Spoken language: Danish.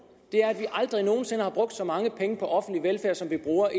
er at vi aldrig nogen sinde har brugt så mange penge på offentlig velfærd som vi bruger i